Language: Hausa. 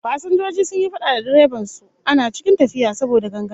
Fasinjoji sun yi fada da direban su ana cikin tafiya, saboda ganganci